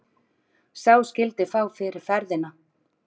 Sá skyldi fá fyrir ferðina.